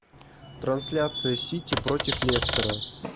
трансляция сити против лестера